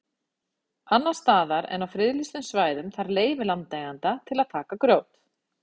Annars staðar en á friðlýstum svæðum þarf leyfi landeigenda til að taka grjót.